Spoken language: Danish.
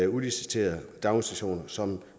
udliciterede daginstitutioner som